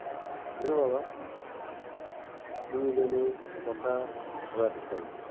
জানো বাবা, তনু যেনো কথা ঘোরাতে চাইল।